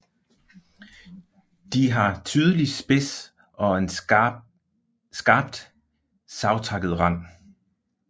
De har tydelig spids og en skarpt savtakket rand